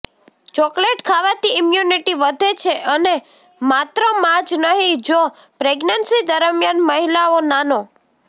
chocolate ખાવાથી immunity વધે છે અને માત્ર માં જ નહીં જો પ્રેગ્નેન્સી દરમિયાન મહિલાઓ નાનો